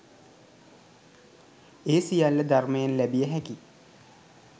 ඒ සියල්ල ධර්මයෙන් ලැබිය හැකි